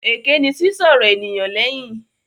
Èké ni sísọ̀rọ̀ ènìyàn léyìn.